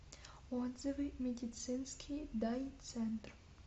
отзывы медицинский дай центр